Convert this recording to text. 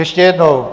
Ještě jednou.